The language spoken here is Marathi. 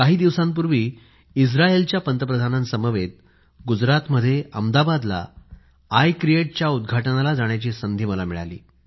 काही दिवसांपूर्वी इस्त्रायलच्या पंतप्रधानांसमवेत गुजरातमध्ये अहमदाबाद मध्ये आय क्रिएट च्या उद्घाटनाला जाण्याची संधी मिळाली